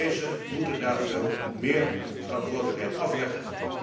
Deze moeten daar veel meer verantwoordelijkheid afleggen.